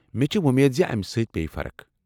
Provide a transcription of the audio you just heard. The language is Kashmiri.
مےٚ چھےٚ وۄمید امہ سۭتۍ پیٚیہ فرق۔